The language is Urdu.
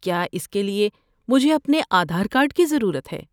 کیا اس کے لیے مجھے اپنے آدھار کارڈ کی ضرورت ہے؟